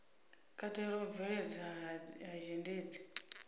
katela u bveledzwa ha zhendedzi